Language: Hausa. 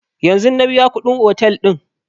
Yanzun na biya kuɗin otel ɗin